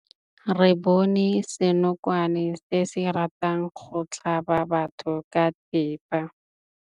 Re bone senokwane se se ratang go tlhaba batho ka thipa.